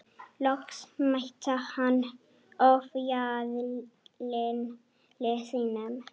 Loks mætti hann ofjarli sínum.